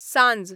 सांंज